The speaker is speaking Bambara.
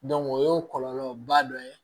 o y'o kɔlɔlɔba dɔ ye